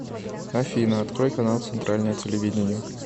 афина открой канал центральное телевидение